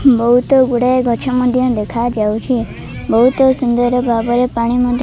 ବହୁତ ଗୁଡାଏ ଗଛ ମଧ୍ୟ ଦେଖାଯାଉଛି। ବହୁତ ସୁନ୍ଦର ଭାବରେ ପାଣି ମ --